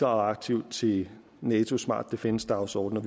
aktivt til natos smart defence dagsorden og